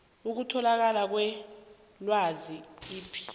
ukutholakala kwelwazi ipaia